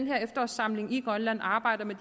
med efterårssamlingen i grønland arbejder med